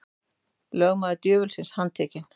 Lögmaður djöfulsins handtekinn